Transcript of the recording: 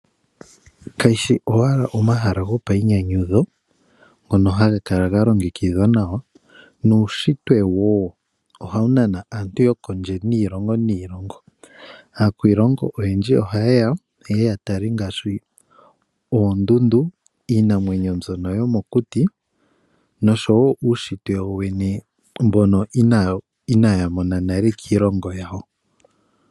Kayi shi owala omahala gopayinyanyudho ngono haga kala ga longekidhwa nawa, nuushitwe wo oha wu nana aantu yokondje niilongo niilongo. Aakwiilongo oyendji ohaye ya, yeye ya tale ngaashi oondundu, iinamwenyo mbyono yomokuti, noshowo uushitwe wo wene mbono inaya mona nale kiilongo yawo.